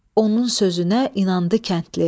Onun sözünə inandı kəndli.